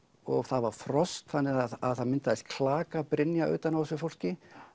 það var frost þannig að það myndaðist klakabrynja utan á þessu fólki